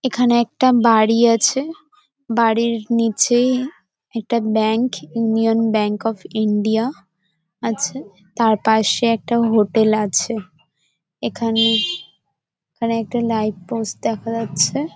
এখানে একটা বাড়ি আছে বাড়ির নিচেই একটা bank Union Bank of India আছে তারপাশে একটা হোটেল আছে । এখানে এখানে একটা লাইট পোস্ট দেখা যাচ্ছে-এ ।